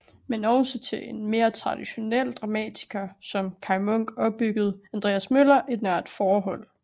Men også til en mere traditionel dramatiker som Kaj Munk opbyggede Andreas Møller et nært forhold